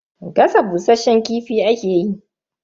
Gasa bushasshen kifi ake yi.